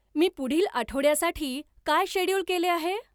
मी पुढील आठवड्यासाठी काय शेड्यूल केले आहे